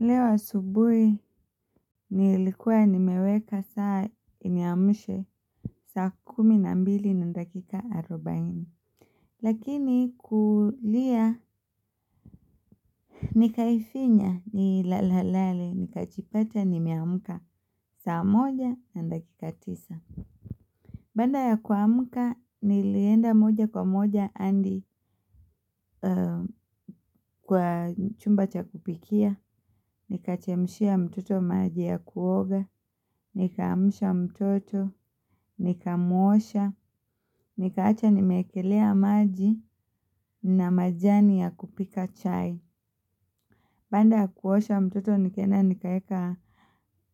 Leo asubuhi nilikuwa nimeweka saa iniamshe saa kumi na mbili na dakika arubaini. Lakini kulia nikaifinya nilale lale nikajipata nimeamka saa moja na dakika tisa. Baada ya kuamka nilienda moja kwa moja hadi kwa chumba cha kupikia. Nikachemshia mtoto maji ya kuoga. Nikaamsha mtoto. Nikamuosha. Nikaacha nimeekelea maji na majani ya kupika chai. Baada ya kuosha mtoto nikaenda nikaeka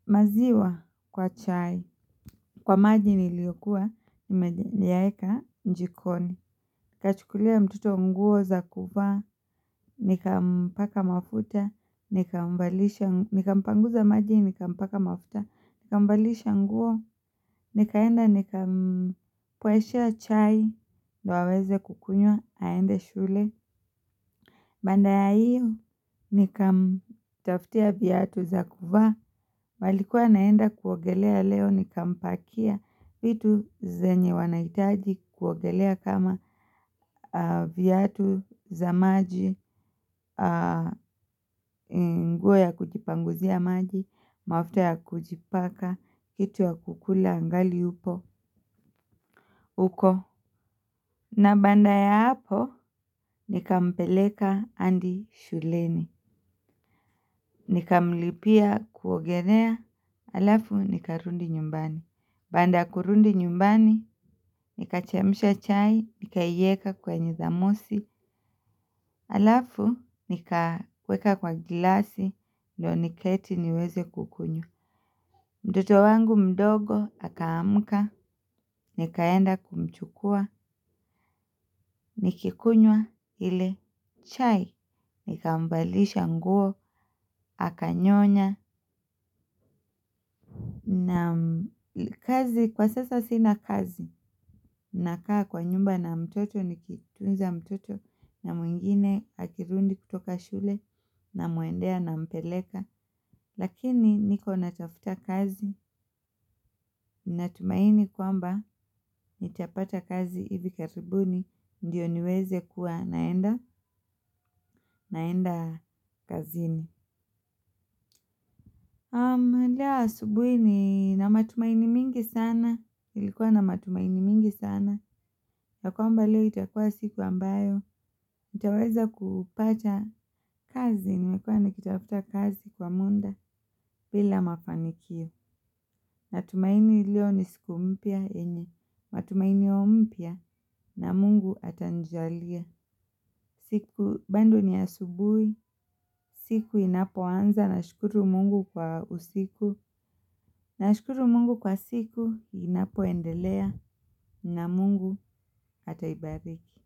maziwa kwa chai. Kwa maji niliyokuwa nimeyaeka jikoni. Nikachukulia mtoto nguo za kuvaa. Nikampaka mafuta. Nikampanguza maji nikampaka mafuta. Nikamvalisha nguo, nikaenda nikampoeshea chai, ndio aweze kukunywa, aende shule. Baada ya ihyo, nikamtafutia viatu za kuvaa. Walikuwa wanaenda kuogelea leo, nikampakia vitu zenye wanahitaji. Kuogelea kama viatu za maji, nguo ya kujipanguzia maji mafuta ya kujipaka, kitu ya kukula angali upo, huko na baada ya hapo, nikampeleka adi shuleni. Nikamlipia kuogelea, alafu nikarudi nyumbani. Baada ya kurudi nyumbani, nikachemsha chai, nikaieka kwenye thamosi. Alafu nikaweka kwa glasi, ndio niketi niweze kukunywa. Mtoto wangu mdogo, akaamka, nikaenda kumchukua, nikikunywa ile chai, nikamvalisha nguo, akanyonya. Na kazi, kwa sasa sina kazi, nakaa kwa nyumba na mtoto, nikitunza mtoto, na mwingine akirudi kutoka shule, namuendea nampeleka. Lakini niko natafuta kazi natumaini kwamba nitapata kazi hivi karibuni ndio niwekeze kuwa naenda kazini. Leo asubuhi nina matumaini mingi sana, nilikuwa na matumaini mingi sana, ya kwamba leo itakuwa siku ambayo, nitaweza kupata. Kazi nilikuwa nikitafuta kazi kwa muda bila mafanikio. Natumaini leo ni siku mpya yenye. Matumainio mpya na Mungu atanijalia. Siku bado ni asubuhi. Siku inapoanza nashukuru Mungu kwa usiku. Nashukuru mungu kwa siku inapoendelea na Mungu ataibariki.